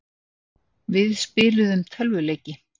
Við spiluðum tölvuleiki.